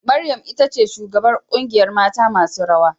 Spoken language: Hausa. Maryam itace shugabar kungiyar mata masu rawa.